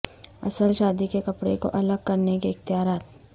اصل شادی کے کپڑے کو الگ کرنے کے اختیارات